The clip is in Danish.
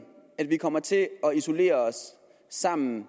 at vi kommer til at isolere os sammen